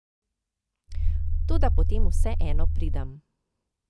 Toda potem vseeno pridem.